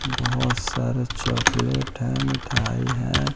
बहुत सारा चॉकलेट है मिठाई है।